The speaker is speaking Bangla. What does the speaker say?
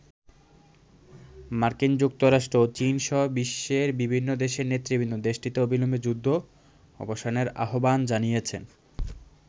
মার্কিন যুক্তরাষ্ট্র ও চীন সহ বিশ্বের বিভিন্ন দেশের নেতৃবৃন্দ দেশটিতে অবিলম্বে যুদ্ধ অবসানের আহ্বান জানিয়েছেন।